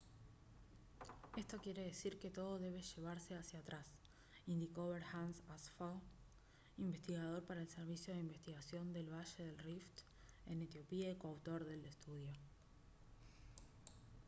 «esto quiere decir que todo debe llevarse hacia atrás» indicó berhance asfaw investigador para el servicio de investigación del valle del rift en etiopía y coautor del estudio